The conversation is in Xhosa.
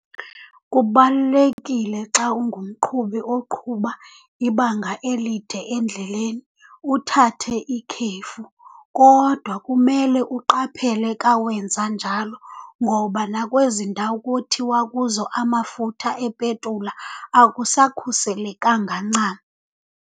Kubalulekile xa ungumqhubi oqhuba ibanga elide endleleni uthathe ikhefu. Kodwa kumele uqaphele ka wenza njalo ngoba nakwezi ndawo kuthiwa kuzo amafutha epetula akusakhuselekanga ncam.